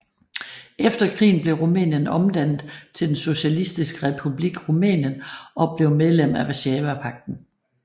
Efter krigen blev Rumænien omdannet til den Socialistiske Republik Rumænien og blev medlem af Warszawapagten